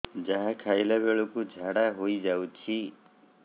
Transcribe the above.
ଯାହା ଖାଇଲା ବେଳକୁ ଝାଡ଼ା ହୋଇ ଯାଉଛି